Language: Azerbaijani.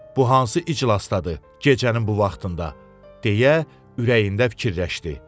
Bu hansı iclasdadır gecənin bu vaxtında, deyə ürəyində fikirləşdi.